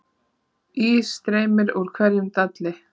Ís streymir úr hverjum dalli